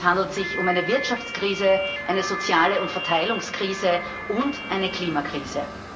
Denn es handelt sich um eine Wirtschaftskrise, eine soziale und Verteilungskrise und eine Klimakrise.